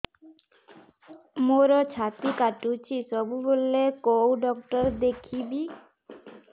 ମୋର ଛାତି କଟୁଛି ସବୁବେଳେ କୋଉ ଡକ୍ଟର ଦେଖେବି